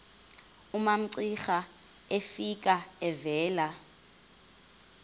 umamcira efika evela